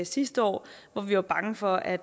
sidste år hvor vi var bange for at